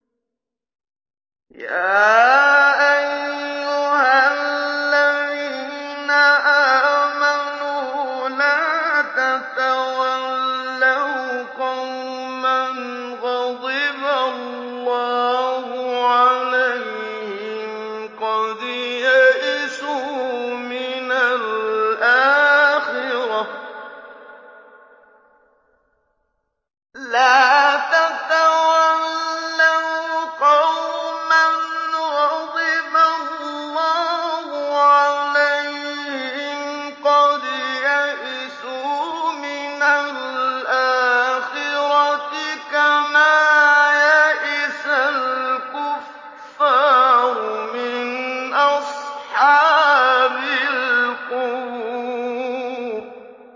يَا أَيُّهَا الَّذِينَ آمَنُوا لَا تَتَوَلَّوْا قَوْمًا غَضِبَ اللَّهُ عَلَيْهِمْ قَدْ يَئِسُوا مِنَ الْآخِرَةِ كَمَا يَئِسَ الْكُفَّارُ مِنْ أَصْحَابِ الْقُبُورِ